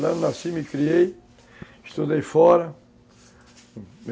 Lá eu nasci, me criei, estudei fora.